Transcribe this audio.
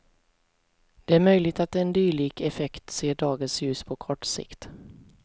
Det är möjligt att en dylik effekt ser dagens ljus på kort sikt.